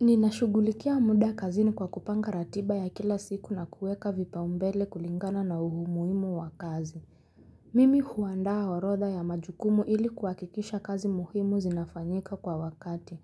Ninashughulikia muda kazini kwa kupanga ratiba ya kila siku na kuweka vipau mbele kulingana na umuhimu wa kazi. Mimi huandaa orodha ya majukumu ili kuhakikisha kazi muhimu zinafanyika kwa wakati.